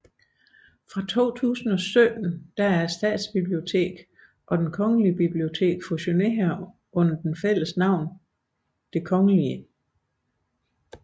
Fra 2017 er Statsbiblioteket og Det Kongelige Bibliotek fusioneret under det fælles navn Det Kgl